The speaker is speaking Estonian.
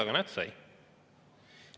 Aga näete, sai.